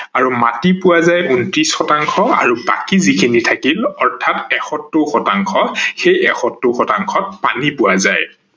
আৰু মাটি পোৱা যায় ঊন্ত্ৰিশ শতাংশ আৰু বাকী যিখিনি থাকিল অৰ্থাৎ একষত্তৰ শতাংশ সেই একষত্তৰ শতাংশ পানী পোৱা যায়